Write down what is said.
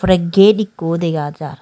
ore ged ekkho dega jar.